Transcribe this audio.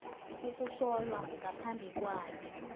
ukuhlolwa ngaphambi kwayo